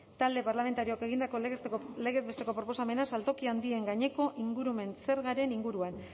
talde parlamentarioak egindako lege proposamena saltoki handien gaineko ingurumen zergaren inguruan